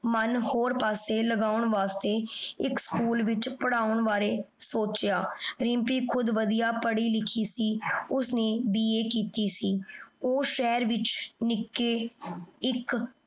ਮਨ ਹੋਰ ਪਾਸੇ ਲਗਨ ਵਾਸ੍ਟੀ ਏਇਕ ਸ੍ਚੋਊਲ ਵਿਚ ਪਰ੍ਹਾਉਣ ਬਾਰੇ ਸੋਚ੍ਯਾ ਦਿਮ੍ਪੀ ਖੁਦ ਵਾਦਿਯ ਪਢ਼ੀ ਲਿਖੀ ਸੀ ਓਸਨੇ BA ਕੀਤੀ ਸੀ ਊ ਸ਼ਾਹੇਰ ਵਿਚ ਨਿਕੀ ਏਇਕ